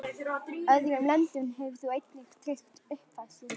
Öðrum löndum hefur þú einnig tryggt uppfæðslu